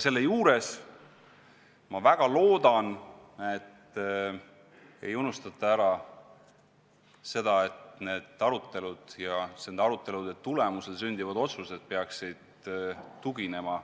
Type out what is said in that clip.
Samas ma väga loodan, et ei unustata ära seda, et arutelud ja nende tulemusel sündivad otsused peaksid tuginema